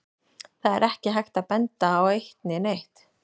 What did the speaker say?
Það er ekki hægt að benda á neitt eitt.